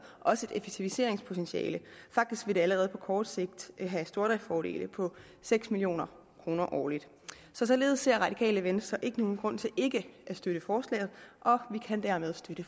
også et effektiviseringspotentiale faktisk vil det allerede på kort sigt have stordriftsfordele på seks million kroner årligt så således ser radikale venstre ikke nogen grund til ikke at støtte forslaget og vi kan dermed støtte